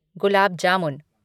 gulab jamun